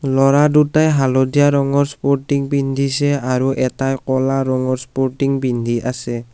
ল'ৰা দুটায়ে হালধীয়া ৰঙৰ স্পৰ্টিং পিন্ধিছে আৰু এটায়ে ক'লা ৰঙৰ স্পৰ্টিং পিন্ধি আছে।